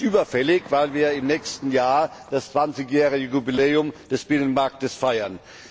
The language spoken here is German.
Das ist überfällig, weil wir im nächsten Jahr das zwanzigjährige Jubiläum des Binnenmarktes feiern.